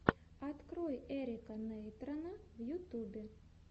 открой эрика нейтрона в ютубе